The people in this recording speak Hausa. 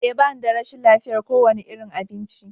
Ee, ba ni da rashin lafiyar kowane irin abinci.